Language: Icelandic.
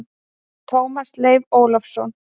Tómas Leif Ólafsson!